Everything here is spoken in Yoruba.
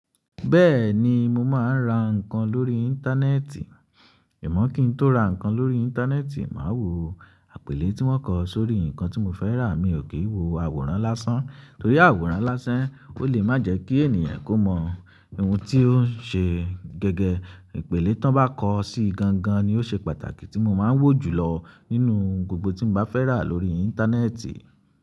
Bẹ́ẹ̀ni mo máa ń ra nǹkan lórí íńtánẹ́ẹ̀tì, amọ́ kín tó ra nǹkan lórí íńtánẹ́ẹ̀tì, màá wo àpèlé tí won kọ sórí nǹkan tí mo fẹ́ rà, mi ò kí ń wo àwòrán lásán torí àwòrán lásán ò lé má jẹ́ kí ènìyàn kó mọ ohun tí ó ń ṣe. Gẹ́gẹ, ìpèlé tó bá kọ sí gan gan ni ó ṣe pàtàkì tí mo máa ń wò jùlọ nínú gbogbo tí n bá fẹ́ rà lórí íńtánẹ́ẹ̀tì.